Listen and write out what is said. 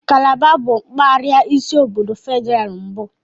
Kalaba bụ mpaghara isi obodo Federal mbụ.